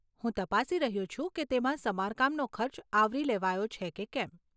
હું તપાસી રહ્યો છું કે તેમાં સમારકામનો ખર્ચ આવરી લેવાયો છે કે કેમ.